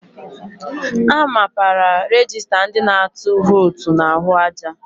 A mapara rejista ndị na-atụ vootu n'ahụ aja.